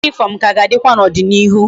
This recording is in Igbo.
Uwe uniform ka ga adikwa na odi na ihu